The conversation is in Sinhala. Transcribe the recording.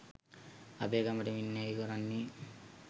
අපේකමට වින්නැහි කොරන්නේ